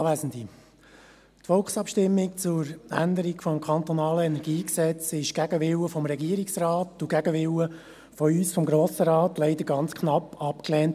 Die Volksabstimmung zur Änderung des KEnG wurde gegen den Willen des Regierungsrates und gegen den Willen von uns, des Grossen Rates, leider ganz knapp abgelehnt.